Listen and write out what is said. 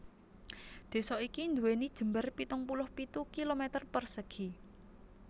Désa iki nduwèni jembar pitung puluh pitu kilometer persegi